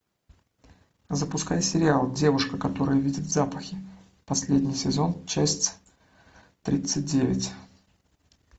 запускай сериал девушка которая видит запахи последний сезон часть тридцать девять